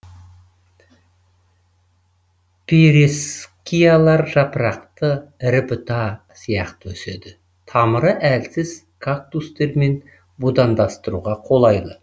пейрескиялар жапырақты ірі бұта сияқты өседі тамыры әлсіз кактустермен будандастыруға қолайлы